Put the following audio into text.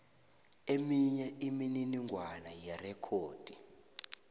eminye imininingwana yerekhodi